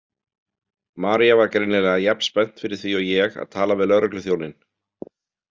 María var greinilega jafn spennt fyrir því og ég að tala við lögregluþjóninn.